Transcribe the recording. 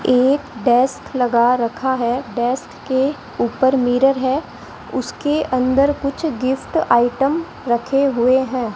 एक डेस्क लगा रखा है डेस्क के ऊपर मिरर है उसके अंदर कुछ गिफ्ट आइटम रखे हुए है।